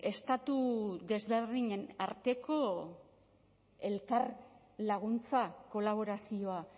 estatu desberdinen arteko elkar laguntza kolaborazioa